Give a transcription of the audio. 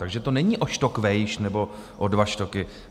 Takže to není o štok vejš nebo o dva štoky.